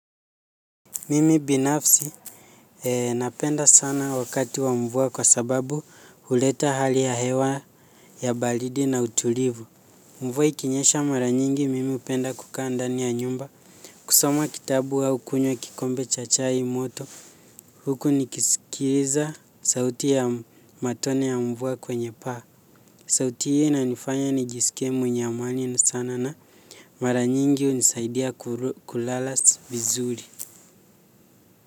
Mimi binafsi, napenda sana wakati wa mvua kwa sababu huleta hali ya hewa ya baridi na utulivu. Mvua ikinyesha mara nyingi, mimi hupenda kukaa ndani ya nyumba. Kusoma kitabu au kunywa kikombe cha chai moto. Huku nikisikiliza sauti ya matone ya mvua kwenye paa. Sauti hii inanifanya nijisikie mwenye amani sana na mara nyingi inanisaidia kulala vizuri.